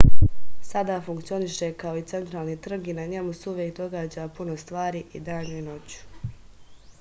sada funkcioniše kao centralni trg i na njemu se uvek događa puno stvari i danju i noću